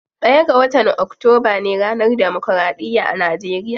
Ɗaya ga watan octoba ne ranar democraɗiya a nageriya.